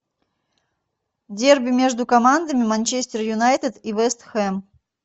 дерби между командами манчестер юнайтед и вест хэм